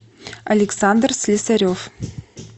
александр слесарев